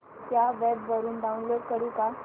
या वेब वरुन डाऊनलोड करू का